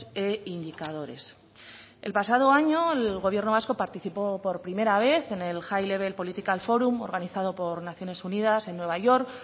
e indicadores el pasado año el gobierno vasco participó por primera vez en el high level political forum organizado por naciones unidas en nueva york